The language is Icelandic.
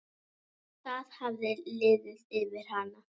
Það hafði liðið yfir hana.